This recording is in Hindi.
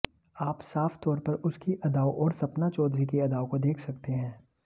आप साफ तौर पर उसकी अदाओं और सपना चौधरी की अदाओं को देख सकते हैं